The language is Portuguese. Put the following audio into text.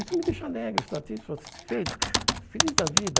Isso me deixa alegre, satis satisfeito, feliz da vida.